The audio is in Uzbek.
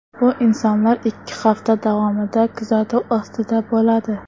Bu insonlar ikki hafta davomida kuzatuv ostida bo‘ladi.